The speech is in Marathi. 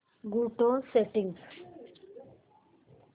go to settings